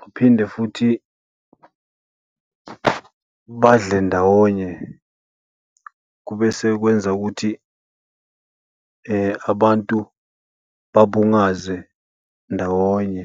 baphinde futhi badle ndawonye. Kube sekwenza ukuthi abantu babungaze ndawonye.